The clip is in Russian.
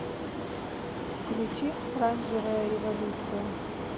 включи оранжевая революция